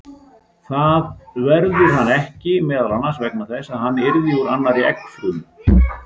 Það verður hann ekki, meðal annars vegna þess að hann yrði úr annarri eggfrumu.